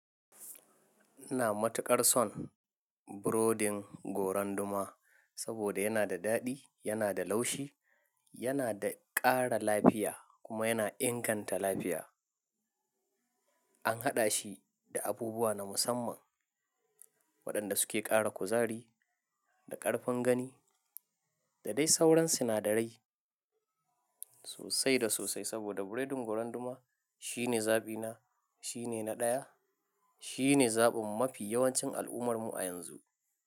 Ina matuƙar son burodin goran duma saboda yana da daɗi, yana da laushi, yana da ƙara lafiya kuma yana inganta lafiya. An haɗa shi da abubuwa na musamman waɗanda suke ƙara kuzari da ƙarfin gani da dai sauran sinadarai sosai da sosai. Saboda biredin goron duma shine zaɓi na, shine na ɗaya, shine zaɓin mafi yawancin al’ummarmu a yanzu.